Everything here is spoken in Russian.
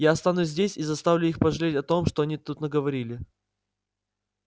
я останусь здесь и заставлю их пожалеть о том что они тут наговорили